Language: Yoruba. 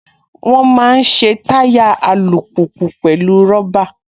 Wọ́n máa ń ṣe táyà alùpùpù pẹ̀lú rọ́bà